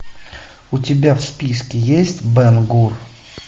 у тебя в списке есть бен гур